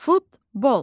Futbol.